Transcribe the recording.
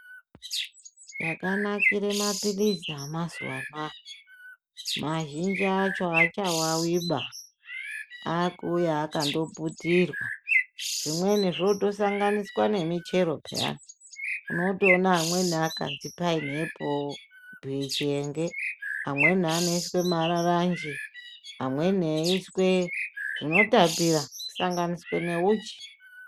Chakanakire maphirizi amazuva ano aya, mazhinji acho hachavaviba akuuya akandoputirwa. Zvimweni zvotosanganiswa nemichero peyani unotoona amwe akazi painiepo chihenge. Amweni anoiswe mararanji amweni eiiswe zvinotapira kusanganiswe neuchi.